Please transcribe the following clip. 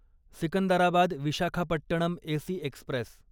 Secunderabad Visakhapatnam AC Express